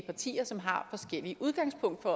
partier som har forskellige udgangspunkter